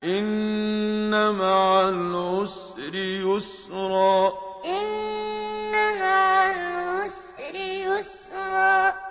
إِنَّ مَعَ الْعُسْرِ يُسْرًا إِنَّ مَعَ الْعُسْرِ يُسْرًا